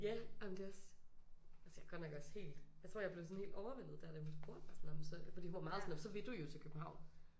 Ja ej men det også. Altså jeg er godt nok også helt jeg tror jeg blev sådan helt overvældet der da hun spurgte mig for hun var meget sådan så vil du jo til København